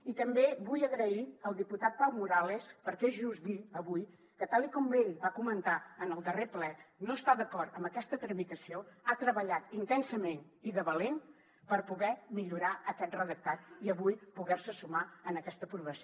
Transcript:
i també vull donar les gràcies al diputat pau morales perquè és just dir avui que tal com ell va comentar en el darrer ple no estar d’acord amb aquesta tramitació ha treballat intensament i de valent per poder millorar aquest redactat i avui poder se sumar a aquesta aprovació